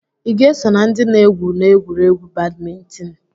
ị ga-eso na ndị na-egwu n'egwuregwu badmintịn?